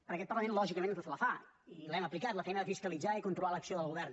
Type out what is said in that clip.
perquè en aquest parlament lògicament la fa i l’hem aplicat la feina de fiscalitzar i controlar l’acció del govern